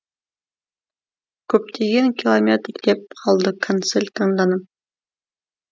көптеген километр деп қалды консель таңданып